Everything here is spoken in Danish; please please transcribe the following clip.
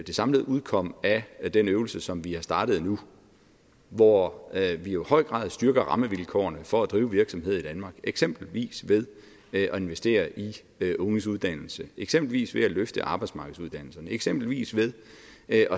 det samlede udkomme af den øvelse som vi har startet nu hvor vi jo i høj grad styrker rammevilkårene for at drive virksomhed i danmark eksempelvis ved at investere i unges uddannelse eksempelvis ved at løfte arbejdsmarkedsuddannelserne eksempelvis ved at